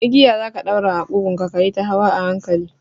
Igiya za ka ɗaura a ƙugunka kayita hawa a hankali